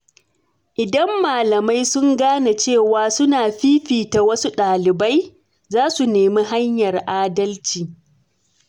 Idan malamai sun gane cewa suna fifita wasu dalibai, za su nemi hanyar adalci.